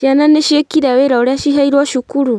Ciana nĩciĩkĩire wĩra ũrĩa ciheirwo cukuru